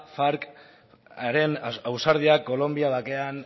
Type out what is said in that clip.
farcaren ausardia kolonbia bakean